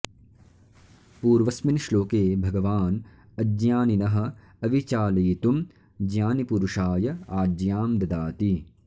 पूर्वस्मिन् श्लोके भगवान् अज्ञानिनः अविचालयितुं ज्ञानिपुरुषाय आज्ञां ददाति